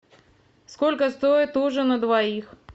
сколько стоит ужин на двоих